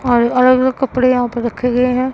और अलग अलग कपड़े यहां पर रखे गए हैं।